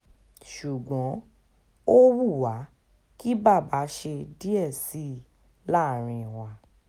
ṣùgbọ́n ó wù wá kí bàbá ṣe díẹ̀ sí i láàrin wa